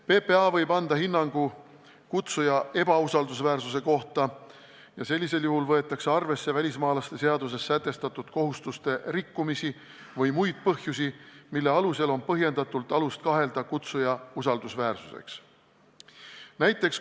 PPA võib anda hinnangu, et kutsuja on ebausaldusväärne, ja sellisel juhul võetakse arvesse välismaalaste seaduses sätestatud kohustuste rikkumisi või muid põhjusi, mille korral on põhjendatult alust kahelda kutsuja usaldusväärsuses.